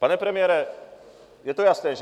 Pane premiére, je to jasné, že?